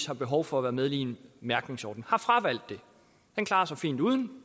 har behov for at være med i en mærkningsordning har fravalgt det man klarer sig fint uden